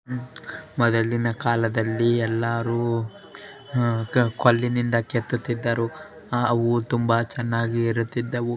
ಮೊದಲಿನ ಕಾಲದಲ್ಲಿ ಎಲ್ಲರೂ ಉ ಕಲ್ಲಿನಿಂದ ಕೆತ್ತುತ್ತಿದ್ದರು ಆ ಹೂವು ತುಂಬಾ ಚೆನ್ನಾಗಿ ಇರುತ್ತಿದ್ದವು.